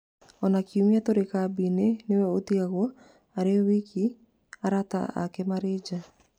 Ona kiumia tũrĩ kambĩ-inĩ nĩwe ũtigagwo arĩ woika arata ake marĩ nja